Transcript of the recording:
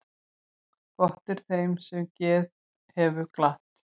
Gott er þeim sem geð hefur glatt.